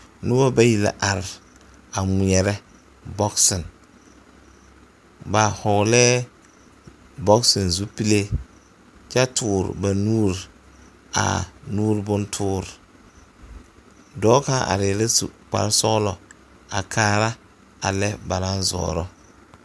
Noba bayi la are a ŋmeɛrɛ bɔɔsa ba hɔglɛɛ bɔɔsa zupile kyɛ toore ba nuuri a nuuri bontoore dɔɔ kaŋ arɛɛ la su kparesɔglɔ a kaara a lɛ ba naŋ zɔɔrɔ.